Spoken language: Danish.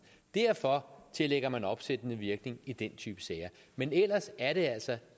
derfor tillægger man opsættende virkning i den type sager men ellers er det altså